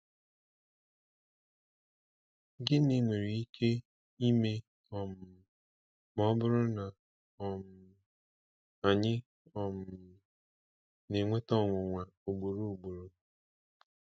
Gịnị nwere ike ime um ma ọ bụrụ na um anyị um na-enweta ọnwụnwa ugboro ugboro?